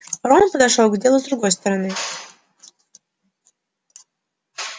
рон подошёл к делу с другой стороны